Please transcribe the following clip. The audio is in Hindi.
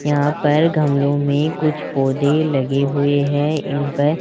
यहां पर गमलों में कुछ पौधे लगे हुए हैं इन पर--